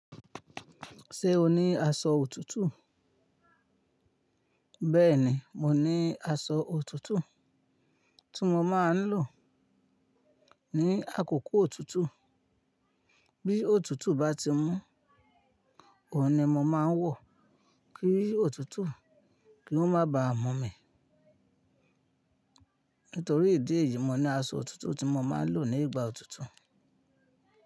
Ṣé o ní aṣọ òtútù? Bẹ́ẹ̀ni, mo ní aṣọ òtútù tí mo máa ń lò ní àkókò òtútù. Bí òtútù bá ti mú, òun ni mo máa ń wọ̀ kí òtútù kì o má ba à mú mi. Nítorí ìdí èyí, mo ní aṣọ òtútù tí mo máa ń lò ní ìgbà òtútù.